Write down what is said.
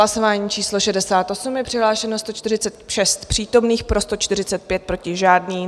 Hlasování číslo 68, je přihlášeno 146 přítomných, pro 145, proti žádný.